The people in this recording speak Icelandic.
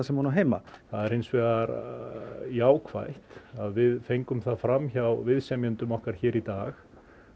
sem hún á heima það er hins vegar jákvætt að við fengum það fram hjá viðsemjendum okkar hér í dag